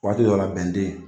Waati dɔ la bɛn de yen